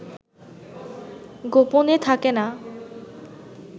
গোপনে থাকে না